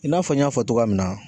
I n'a fɔ n y'a fɔ togoya min na.